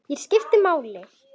Ég skipti máli.